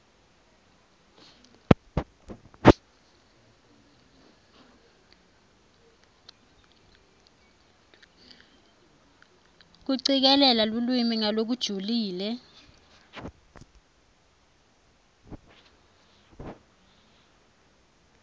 kucikelela lulwimi ngalokujulile